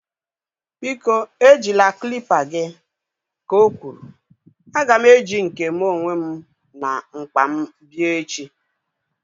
Biko ejila klịpa gị! Ka o kwuru. A ga m eji nke mụ onwe m na mkpa m bịa echi